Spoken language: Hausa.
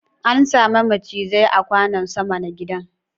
An same macizai a kwanon sama na gidan